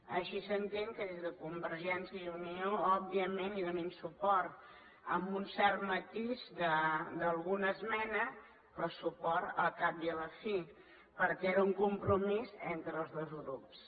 així s’entén que des de convergència i unió òbviament hi donin suport amb un cert matís d’alguna esmena però suport al cap i a la fi perquè era un compromís entre els dos grups